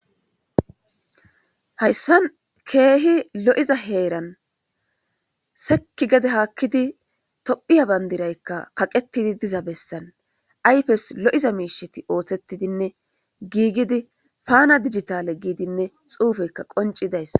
Hayisan keehi lo'iza heeran sekki gede haakkidi tophiya bandiraykka kaqetidi diza bessan ayfes lo'iza miisheti ooththettidinne giigidi paana digitale giidinne xuufeyka qoncidays